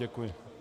Děkuji.